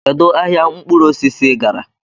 Kedu ahịa mkpụrụ osisi ị gara?